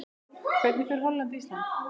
Hvernig fer Holland- Ísland?